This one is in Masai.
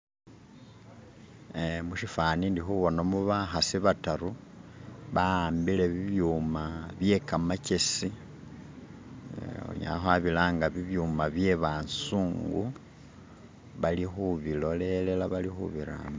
ee mushifani ndi hubonamo bahasi bataru bahambile bibyuma byekamachesi hunyala hwabilanga bibyuma byebasungu bali hubilolela bali hubirambisa